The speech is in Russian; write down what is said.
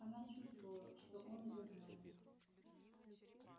она чувствовала что он это знает